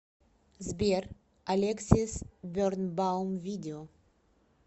сбер алексис бернбаум видео